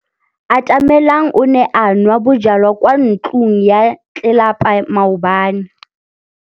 Atamelang o ne a nwa bojwala kwa ntlong ya tlelapa maobane.